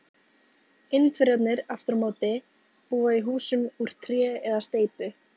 indverjarnir aftur á móti búa í húsum úr tré eða steypu